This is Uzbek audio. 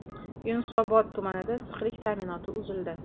Yunusobod tumanida issiqlik ta’minoti uzildi.